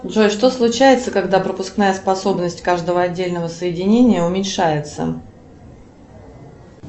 джой что случается когда пропускная способность каждого отдельного соединения уменьшается